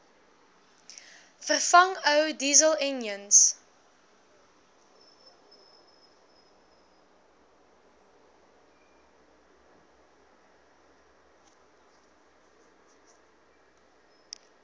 vervang ou dieselenjins